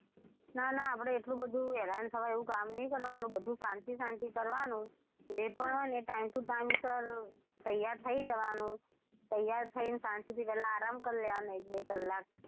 ના ના આપડે એટલું બધું હેરાન થવાય એવું કામ નહિ કરવાનું બધું શાંતિ શાંતિ કરવાનું જે પણ હોય ને એ time ટુ time સર તૈયાર થયી જવાનું તૈયાર થઈને શાંતિથી પેલા આરામ કરી લેવાનો એક -બે કલાક,